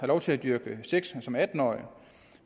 lov til at dyrke sex som atten årig